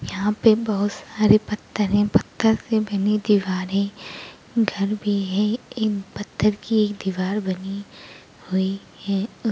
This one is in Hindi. यहा पे बहुत सारे पथरे पत्थर से बनी दीवारे घर भी है एक पत्थर की एक दीवार बनी हुई है।